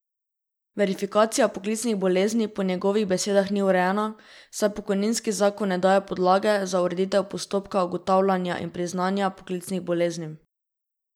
Verifikacija poklicnih bolezni po njegovih besedah ni urejena, saj pokojninski zakon ne daje podlage za ureditev postopka ugotavljanja in priznanja poklicnih bolezni.